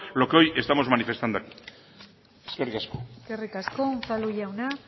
lo que hay estamos manifestando aquí eskerrik asko eskerrik asko unzalu jauna